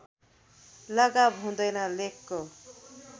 लगाव हुँदैन लेखको